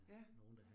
Ja